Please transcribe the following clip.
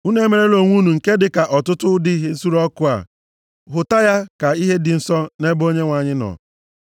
Unu emerela onwe unu nke dịka ọtụtụ ụdị ihe nsure ọkụ a. Hụta ya ka ihe dị nsọ nʼebe Onyenwe anyị nọ.